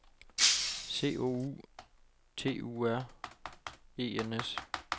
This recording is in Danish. C O U T U R E N S